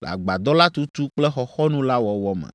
le agbadɔ la tutu kple xɔxɔnu la wɔwɔ me.